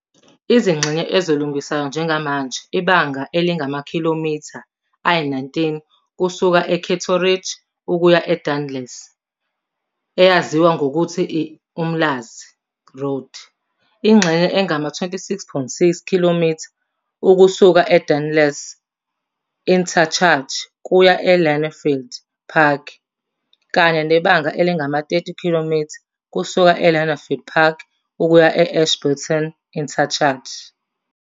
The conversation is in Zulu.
Izingxenye ezilungiswayo njengamanje ibanga elingamakhilomitha, km, ayi-19 kusuka e-Cato Ridge ukuya e-Dardanelles, eyaziwa ngokuthi i-Umlaas Road, ingxenye engama-26.6 km ukusuka e-Dardanelles Interchange kuya e-Lynnfield Park, kanye nebanga elingama-30 km kusuka e-Lynnfield Park ukuya e-Ashburton Interchange.